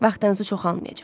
Vaxtınızı çoxalmayacaq.